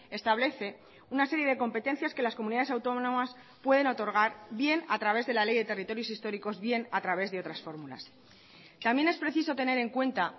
establece una serie de competencias que las comunidades autónomas pueden otorgar bien a través de la ley de territorios históricos bien a través de otras fórmulas también es precisotener en cuenta